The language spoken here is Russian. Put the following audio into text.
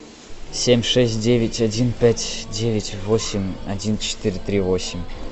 семь шесть девять один пять девять восемь один четыре три восемь